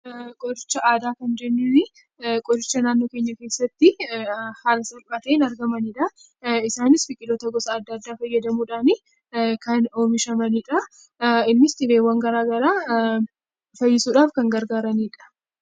Qoricha aadaa kan jennuun qoricha naannoo keenya keessatti haala salphaadhaan argamanidha. Isaanis biqiloota gosa adda addaa fayyadamuudhaan kan oomishanidha. Innis dhibeewwan garaagaraa fayyisuuf kan gargaaranidha